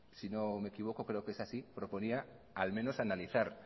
si no me equivoco creo que es así proponía al menos analizar